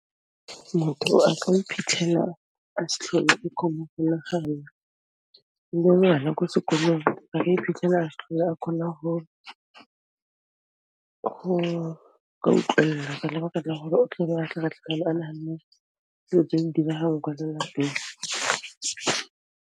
Motho a ka iphitlhela a s'tlhole le ko sekolong ba ka iphitlhela khona go ka utlwella ka lebaka la hore o tla be a tlhaka-tlhakane a nahanne diyo tse neng di dirahala kwa lelapeng.